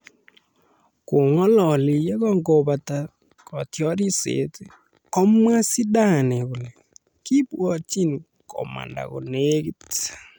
Kong'alali yekingokakobata kotiorset komwa Zidane kole :Kibwatjini komanda konegit